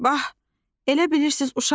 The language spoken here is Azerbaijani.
Bax, elə bilirsiz uşağam?